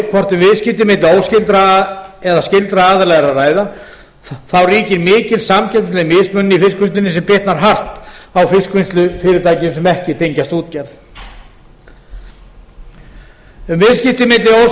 hvort um viðskipti milli óskyldra eða skyldra aðila er að ræða þá ríkir mikil samkeppnisleg mismunun í fiskvinnslunni sem bitnar hart á fiskvinnslufyrirtækjum sem ekki tengjast útgerð a viðskipti milli